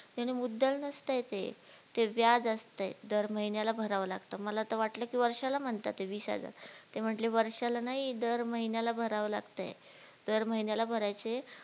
ते मुददल नसतेय ते व्याज असतेय, दर महिन्याला भरावे लागत, मला तर वाटलं की वर्षाला म्हणतायत वीस हजार, ते म्हटले वर्षाला नाही दर महिन्याला भरावे लागतेय, दर महिन्याला भरायचे